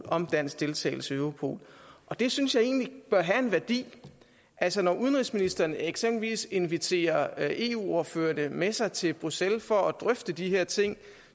om dansk deltagelse i europol og det synes jeg egentlig bør have en værdi altså når udenrigsministeren eksempelvis inviterer eu ordførerne med sig til bruxelles for at drøfte de her ting